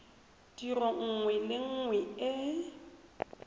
tiro nngwe le nngwe e